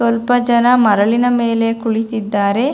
ಸ್ವಲ್ಪ ಜನ ಮರಳಿನ ಮೇಲೆ ಕುಳಿತಿದ್ದಾರೆ.